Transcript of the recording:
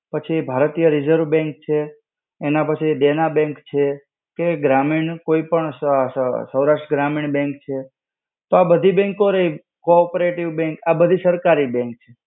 પછી ભારતીય Reserve Bank છે. એના પછી Dena Bank છે. પછી ગ્રામીણ કોઈ પણ સ સ સ, સૌરાષ્ટ્ર ગ્રામીણ bank છે. તો આ બધી bank રઈ co-operative bank આ બધી સરકારી bank છે.